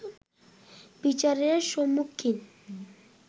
বিচারের সম্মুখীন